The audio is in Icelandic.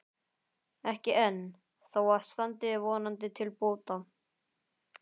Ekki enn, þó það standi vonandi til bóta.